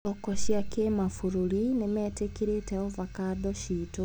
Thoko cia kĩmabũrũri nĩmetĩkĩrĩte avocando citũ.